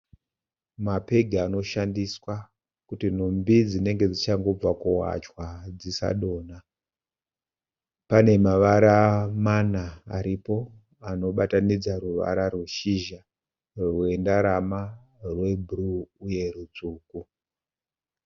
Mapegi anoshandiswa kuti nhumbi dzinenge dzichangobva kuwachwa dzisadonha. Pane mavara mana aripo anobatanidza ruvara rweshizha, rwendarama, rebhuruu uye rutsvuku.